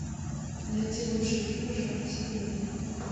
найти лучшие фильмы жанра семейный